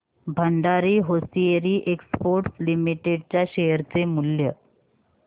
Bhandari Hosiery Exports Limited च्या share चे मूल्य